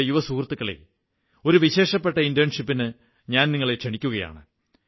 എന്റെ യുവസുഹൃത്തുക്കളേ ഒരു വിശേഷപ്പെട്ട ഇന്റേൺഷിപ്പിന് ഞാൻ നിങ്ങളെ ക്ഷണിക്കയാണ്